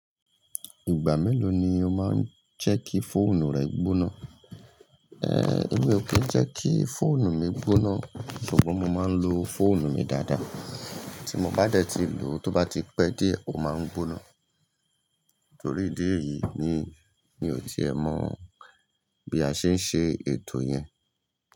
Ìgbà mélòó ni o máa ń jẹ́ kí fóònù rẹ gbóná? Èmi ò kí ń jẹ́ kí fóònù mi gbóná, ṣùgbọ́n mo máa ń lo fóònù mi dáadáa. Tí mo bá dẹ̀ ti lò, tó bá ti pẹ́ díẹ̀ ó máa ń gbóná. Torí ìdí èyí ni, mi ò ti ẹ mọ bí a ṣe ń ṣe ètò yẹn.